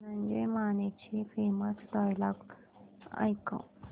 धनंजय मानेचे famous dialogue ऐकव